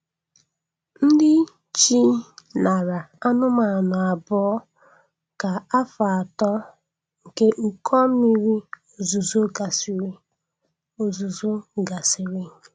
Ndị chi nara anụmanụ abụọ ka afọ atọ nke ụkọ mmiri ozuzo gasịrị. ozuzo gasịrị.